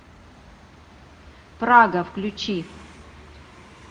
прага включи